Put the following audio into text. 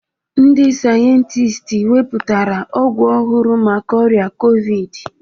Ndị sayentist wepụtara ọgwụ ọhụrụ maka ọrịa Kovid